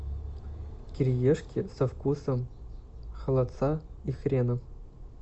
кириешки со вкусом холодца и хрена